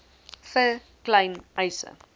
vir klein eise